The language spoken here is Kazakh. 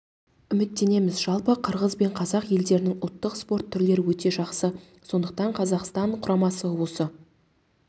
үміттенеміз жалпы қырғыз бен қазақ елдерінің ұлттық спорт түрлері өте ұқсас сондықтан қазақстан құрамасы осы